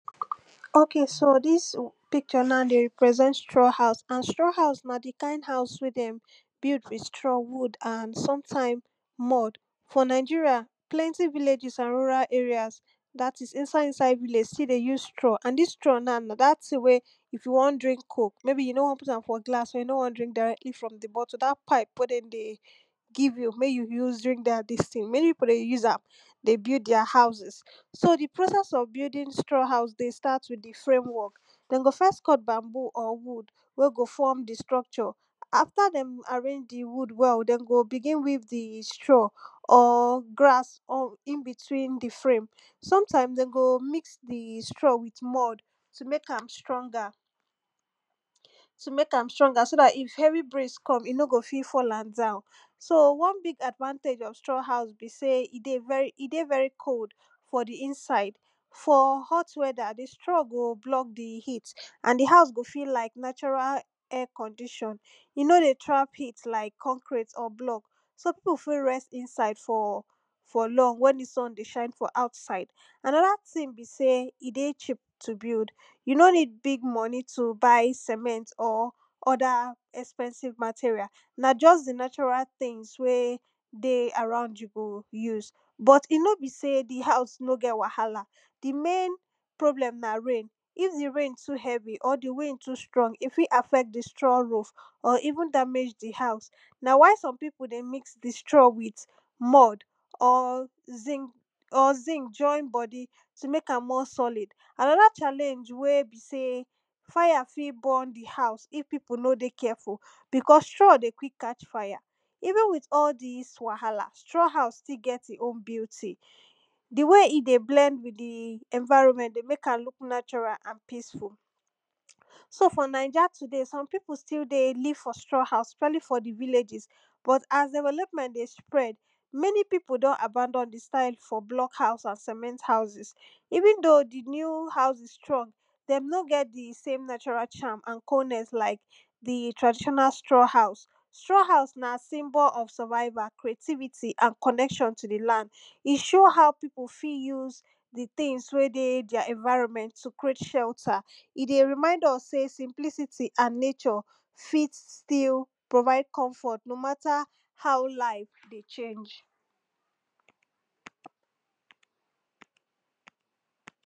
ok so dis picture na dey represent straw house. and straw house na the kind house wey dem build with straw, wood and sometimes mud for nigeria plenty villages, and rural areas dat is, inside inside village still dey use straw and dis straw na, na dat ting wey if you wan drink coke maybe, you no wan put am for glass or you no wan drink directly from the bottle, dat pipe wey dem dey give you mek you use drink dat dis ting, many pipo dey use am dey build deir houses so the process of building straw house dey start with the framework dem go first cut bamboo or wood wey go form the structure after dem arrange the wood well dem go begin weave the straw or grass or in between the frame sometimes dem go mix the straw with mud to mek am stronger to mek am stronger, so dat, if heavy breeze come he no go fit fall am down so, one big advantage of straw house be sey, he dey very he dey very cold for the inside for hot weather the straw go block the heat and the house go feel like natural air condition he no dey trap heat like concrete or block so pipo fi rest inside for for long when the sun dey shine for outside another ting be sey, he dey cheap to build you no need big money to buy cement or other expensive material na just the natural tings wey dey around you go use but he no be sey the house no get wahala the main problem na rain if the rain too heavy or the rain too strong he fit affect the straw roof or even damage the house na why some pipo dey mix the straw with mud or zinc or zinc join body to mek am more solid. another challenge wey be sey fire fi born the house if pipo no dey careful because straw dey quick catch fire even with all dis wahala straw house still get in own beauty the way he dey blend with the environment dey mek am look natural and peaceful so for naija today, some pipo still dey live for straw house especially for the villages but as development dey spread many pipo don abandon the style for block house and cement house even though the new houses strong dem no get thesame natural charm and coldness like the traditional straw house straw house na symbol of survival, creativity, and connection to the land he show how pipo fi use the tings wey dey deir environment to create shelter he dey remind us sey simplicity and nature fit still provide comfort no matter how life dey change.